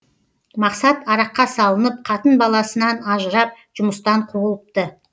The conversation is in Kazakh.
мақсат араққа салынып қатын баласынан ажырап жұмыстан қуылыпты